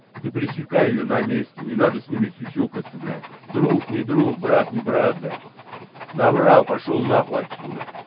ты пресекай её на месте не надо с ними сюсюкаться блядь друг не друг брат не брат блядь наврал пошёл нахуй отсюда